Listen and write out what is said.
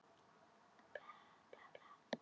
Hann reyndi að setja sig í spor hennar en gat það ekki.